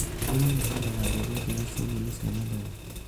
Arĩmi mahandaga mbegũ njega cia nyeni cia matharũ